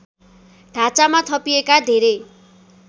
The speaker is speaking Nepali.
ढाँचामा थपिएका धेरै